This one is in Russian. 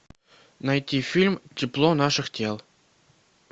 найти фильм тепло наших тел